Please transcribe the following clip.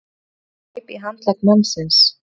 Valdimar greip í handlegg mannsins.